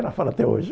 Ela fala até hoje.